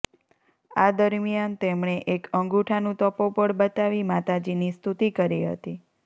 આ દરમિયાન તેમણે એક અંગૂઠાનું તપોબળ બતાવી માતાજીની સ્તુતી કરી હતી